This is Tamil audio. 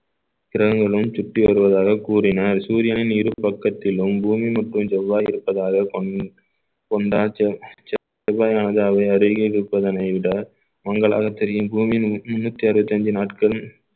கிரகங்களும் சுற்றி வருவதாக கூறினார் சூர்யாவின் இரு பக்கத்திலும் பூமி மற்றும் செவ்வாய் இருப்பதாக கொண்~ கொண்டா செவ்~ செவ்வாயானது அருகில் இருப்பதனை விட மங்கலாக தெரியும் பூமி முன்னூத்தி அறுபத்தி அஞ்சு நாட்கள்